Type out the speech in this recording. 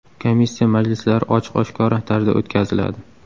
Komissiya majlislari ochiq-oshkora tarzda o‘tkaziladi.